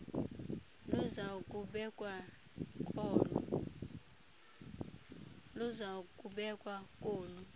luza kubekwa kolu